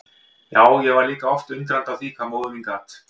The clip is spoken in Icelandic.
Já, ég var líka oft undrandi á því hvað móðir mín gat.